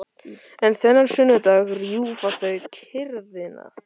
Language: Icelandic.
En þennan sunnudag rjúfa þau kyrrðina.